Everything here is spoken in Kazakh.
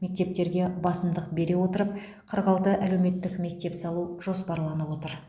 мектептерге басымдық бере отырып қырық алты әлеуметтік мектеп салу жоспарланып отыр